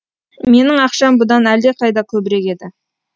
менің ақшам бұдан әлдеқайда көбірек еді